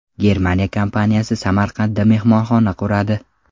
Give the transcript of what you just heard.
Germaniya kompaniyasi Samarqandda mehmonxona quradi.